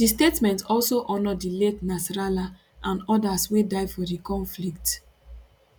di statement also honour di late nasrallah and odas wey die for di conflict